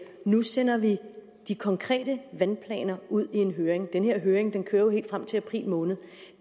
nu sender vi de konkrete vandplaner ud i en høring en høring der jo kører helt frem til april måned